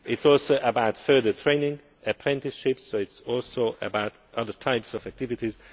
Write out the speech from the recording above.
It is also about further training and apprenticeships, so it is also about other types of activities.